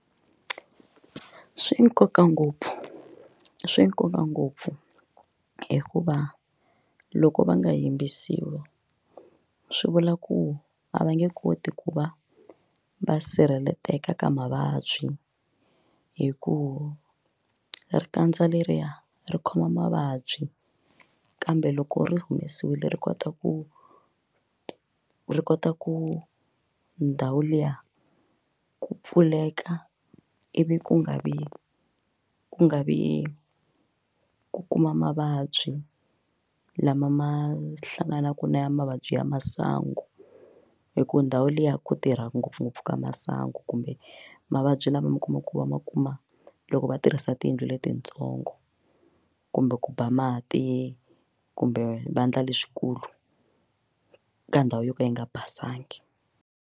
Swi na nkoka ngopfu swi nkoka ngopfu hikuva loko va nga yimbisiwa swi vula ku a va nge koti ku va va sirheleleka ka mavabyi hikuva ri kandza leriya ri khoma mavabyi kambe loko ri humesiwile ri kota ku ri kota ku ndhawu liya ku pfuleka ivi ku nga vi ku nga vi ku kuma mavabyi lama ma hlanganaka na mavabyi ya masangu hi ku ndhawu liya ku tirha ngopfungopfu ka masangu kumbe mavabyi lama mi kuma ku va ma kuma loko va tirhisa tiyindlu letitsongo kumbe ku ba mati kumbe vandla leswikulu ka ndhawu yo ka yi nga basanga.